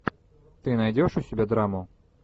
ты найдешь у себя драму